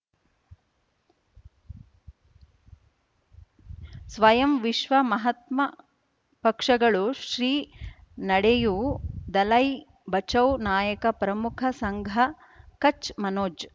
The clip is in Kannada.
ಸ್ವಯಂ ವಿಶ್ವ ಮಹಾತ್ಮ ಪಕ್ಷಗಳು ಶ್ರೀ ನಡೆಯೂ ದಲೈ ಬಚೌ ನಾಯಕ ಪ್ರಮುಖ ಸಂಘ ಕಚ್ ಮನೋಜ್